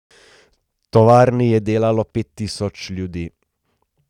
V tovarni je delalo pet tisoč ljudi.